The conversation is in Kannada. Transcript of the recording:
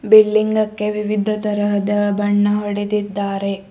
ಬಿಲ್ಡಿಂಗಕ್ಕೆ ವಿವಿಧ ತರಹದ ಬಣ್ಣ ಹೊಡೆದಿದ್ದಾರೆ.